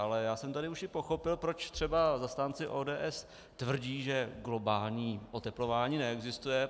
Ale já jsem tady už i pochopil, proč třeba zastánci ODS tvrdí, že globální oteplování neexistuje.